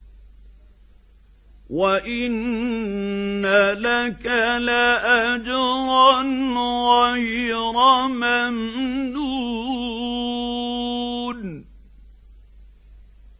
وَإِنَّ لَكَ لَأَجْرًا غَيْرَ مَمْنُونٍ